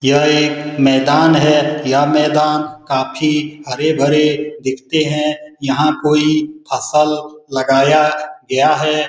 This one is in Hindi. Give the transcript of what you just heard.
यह एक मैदान है यह मैदान काफ़ी हरे-भरे दिखते हैं यहाँ कोई फसल लगाया गया है।